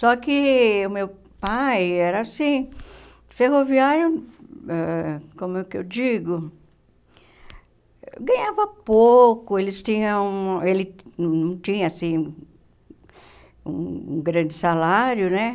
Só que o meu pai era assim, ferroviário, ãh como é que eu digo, ganhava pouco, eles tinham um ele não não tinha, assim, um um grande salário, né?